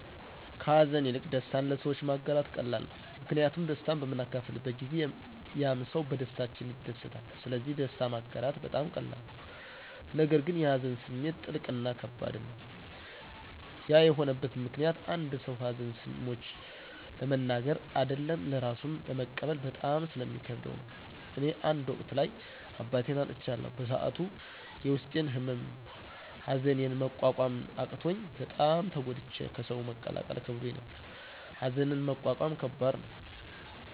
ከሀዘን ይልቅ ደስታን ለሰዎች ማጋራት ቀላል ነው። ምክንያቱም ደስታን በምናካፍልበት ጊዜ ያምሰው በደስታችን ይደሰታል ስለዚህ ደስታ ማጋራት በጣም ቀላል ነው። ነገር ግን የሀዘን ስሜት ጥልቅ እና ከባድም ነው። ያ የሆነበት ምክኒያት አንድ ሰው ሀዘን ሰምቾ ለመናገር አደለም ለራሱም ለመቀበል በጣም ስለሚከብደው ነው። እኔ አንድ ወቅት ላይ አባቴን አጥቻለሁ በሰዐቱ የውስጤን ህመም ሀዘኒን መቆቆም አቅቾኝ በጣም ተጎድቼ ከሰው መቀላቀል ከብዶኝ ነበር። ሀዘንን መቆቆም ከባድ ነው።